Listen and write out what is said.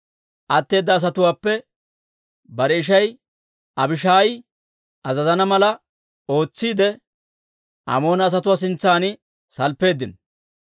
Atteeda asatuwaappe bare ishay Abishaayi azazana mala ootsiide, Amoona asatuwaa sintsan salppeeddino.